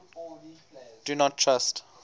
do not trust